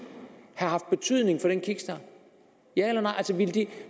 have haft betydning for en kickstart ja eller nej